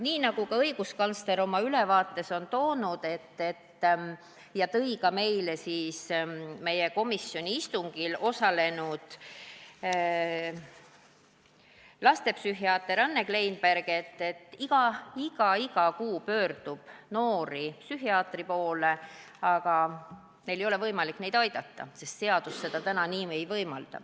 Nii nagu ütles õiguskantsler oma ülevaates ja ütles ka meie komisjoni istungil osalenud lastepsühhiaater Anne Kleinberg, pöördub noori psühhiaatri poole iga kuu, aga psühhiaatritel ei ole võimalik neid aidata, sest seadus seda täna ei võimalda.